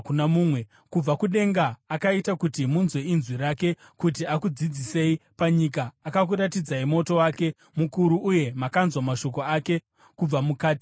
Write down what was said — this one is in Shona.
Kubva kudenga akaita kuti munzwe inzwi rake kuti akudzidzisei. Panyika akakuratidzai moto wake mukuru, uye makanzwa mashoko ake kubva mukati momoto.